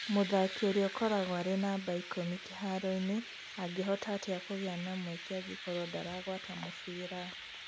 "Mũthaki ũrĩa ũkoragwo arĩ namba 10 kiharo-inĩ angĩhota atĩa kũgĩa na mweke angĩkorũo ndaragwata mũbira?